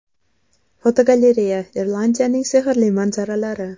Fotogalereya: Irlandiyaning sehrli manzaralari.